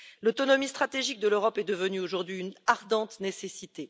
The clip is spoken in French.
L'autonomie stratégique de l'Europe est devenue aujourd'hui une ardente nécessité.